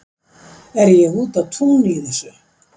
Er ég úti á túni í þessu?